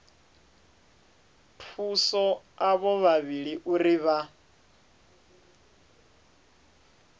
thusa avho vhavhili uri vha